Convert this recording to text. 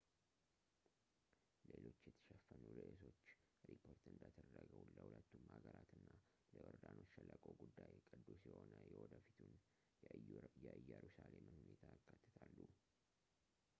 ሌሎች የተሸፈኑ ርእሶች ሪፖርት እንደተደረገው ለሁለቱም ሀገራት እና ለዮርዳኖስ ሸለቆ ጉዳይ ቅዱስ የሆነ የወደፊቱን የኢየሩሳሌምን ሁኔታ ያካትታሉ